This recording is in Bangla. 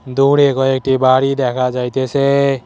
দূরে কয়েকটি বাড়ি দেখা যাইতেসে।